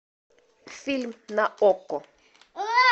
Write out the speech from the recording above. фильм на окко